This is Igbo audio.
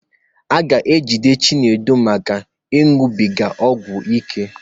A ga-ejide Chinedu maka ịnụbiga ọgwụ oké.